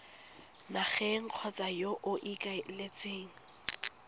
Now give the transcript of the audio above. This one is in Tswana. nageng kgotsa yo o ikaeletseng